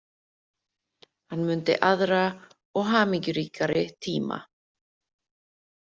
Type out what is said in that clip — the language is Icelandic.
Hann mundi aðra og hamingjuríkari tíma.